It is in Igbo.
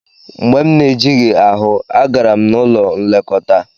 Mgbe m na-ejighị ahụ, agara m n'ụlọ nlekọta.